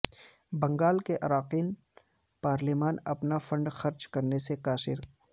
بنگال کے اراکین پارلیمان اپنا فنڈ خرچ کرنے سے قاصر